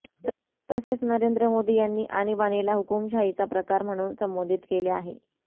तसेच नरेंद्र मोदी यांनी आणीबाणीला हुकूमशाहीचा प्रकार म्हणून संबोधित केले आहे